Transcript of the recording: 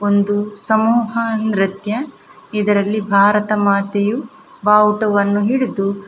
ಒಂದು ಸಮೂಹ ನೃತ್ಯ ಇದರಲ್ಲಿ ಭಾರತಮಾತೆಯು ಬಾವುಟವನ್ನು ಹಿಡಿದು--